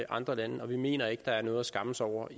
andre lande og vi mener ikke at der er noget at skamme sig over